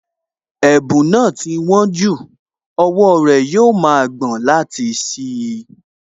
Ẹ̀bùn náà ti wón jù, owó rẹ̀ yóò ma gbọ̀n láti ṣí i